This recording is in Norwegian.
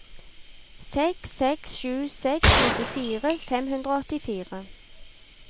seks seks sju seks nittifire fem hundre og åttifire